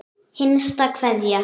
Hinsta kveðja.